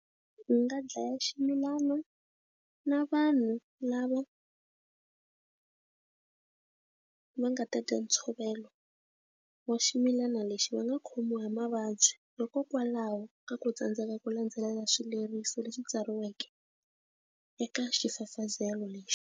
Ndzi nga dlaya xigulana na vanhu lava va nga ta dya ntshovelo wa ximilana lexi va nga khomiwa hi mavabyi hikokwalaho ka ku tsandzeka ku landzelela swileriso leswi tsariweke eka xifafazelo lexi.